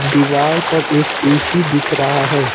दीवार पर एक ए_सी दिख रहा है।